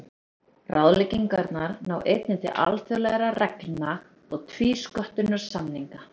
Ráðleggingarnar ná einnig til alþjóðlegra reglna og tvísköttunarsamninga.